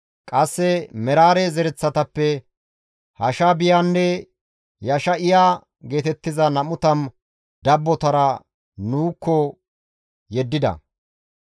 Qasse Meraare zereththatappe Hashaabiyanne Yesha7iya geetettiza 20 dabbotara nuukko yeddida.